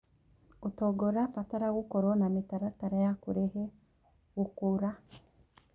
ũtonga ũrabatara gũkorwo na mĩtaratara ya kũrehe gũkũra.